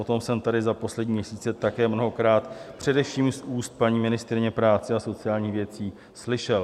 O tom jsem tady za poslední měsíce také mnohokrát především z úst paní ministryně práce a sociálních věcí slyšel.